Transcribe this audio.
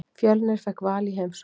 Fjölnir fékk Val í heimsókn.